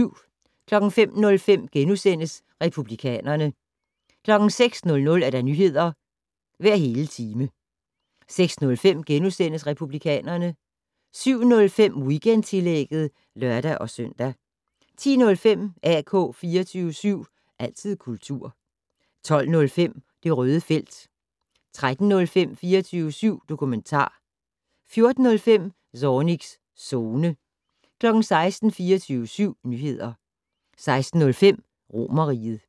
05:05: Republikanerne * 06:00: Nyheder hver hele time 06:05: Republikanerne * 07:05: Weekendtillægget (lør-søn) 10:05: AK 24syv. Altid kultur 12:05: Det Røde Felt 13:05: 24syv dokumentar 14:05: Zornigs Zone 16:00: 24syv Nyheder 16:05: Romerriget